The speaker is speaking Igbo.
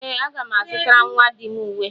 Ee, aga m azutara nnwa di m uwe